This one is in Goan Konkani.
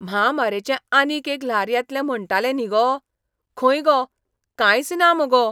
म्हामारेचें आनीक एक ल्हार येतलें म्हणटाले न्ही गो? खंय गो, कांयच ना मुगो!